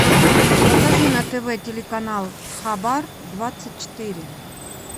покажи на тв телеканал хабар двадцать четыре